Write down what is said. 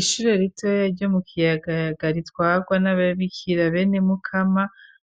Ishure ritoya ryo mu Kiyagayaga ritwagwa n'ababikira bene Mukama,